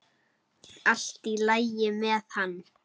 Allt í lagi með hann.